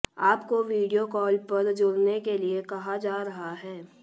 आपको video call पर जुड़ने के लिए कहा जा रहा है